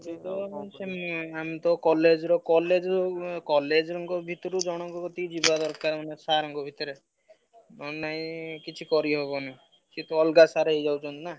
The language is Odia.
ଦେଖେ ସେଇ ଆମେ ତ college ର college ଆଉ college ଙ୍କ ଭିତରୁ ଜଣଙ୍କ କତିକି ଯିବା ଦରକାର sir ଙ୍କ କତିରେ ନହେଲେ ନାଇଁ କିଛି କରିହବନି। ସେ ତ ଅଲଗା sir ହେଇଯାଉଛନ୍ତି ନା।